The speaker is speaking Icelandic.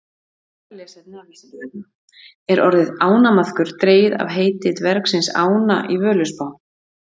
Frekara lesefni af Vísindavefnum: Er orðið ánamaðkur dregið af heiti dvergsins Ána í Völuspá?